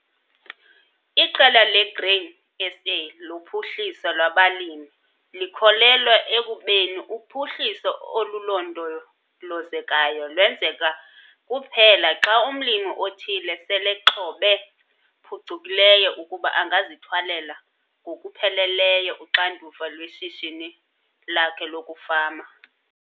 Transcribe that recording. Iqela laseGrain SA loPhuhliso lwabaLimi likholelwa ekubeni uphuhliso olulondolozekayo lwenzeka kuphela xa umlimi othile selexhobe phucukileyo ukuba angazithwalela ngokupheleleyo uxanduva lweshishini lakhe lokufama.